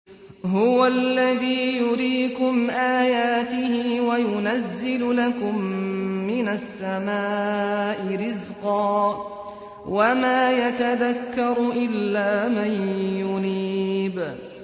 هُوَ الَّذِي يُرِيكُمْ آيَاتِهِ وَيُنَزِّلُ لَكُم مِّنَ السَّمَاءِ رِزْقًا ۚ وَمَا يَتَذَكَّرُ إِلَّا مَن يُنِيبُ